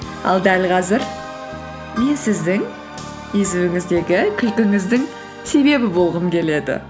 ал дәл қазір мен сіздің езуіңіздегі күлкіңіздің себебі болғым келеді